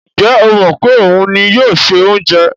Ǹjẹ́ ó mọ̀ pé òun ni yóò se oúnjẹ?